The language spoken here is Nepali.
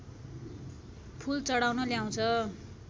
फूल चढाउन ल्याउँछ